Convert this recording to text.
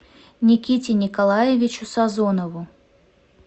никите николаевичу сазонову